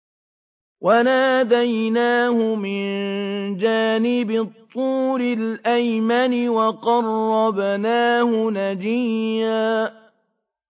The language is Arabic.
وَنَادَيْنَاهُ مِن جَانِبِ الطُّورِ الْأَيْمَنِ وَقَرَّبْنَاهُ نَجِيًّا